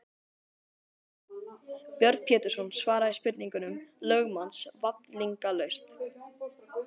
Björn Pétursson svaraði spurningum lögmanns vafningalaust.